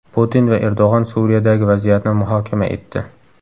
Putin va Erdo‘g‘on Suriyadagi vaziyatni muhokama etdi.